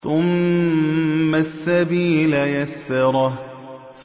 ثُمَّ السَّبِيلَ يَسَّرَهُ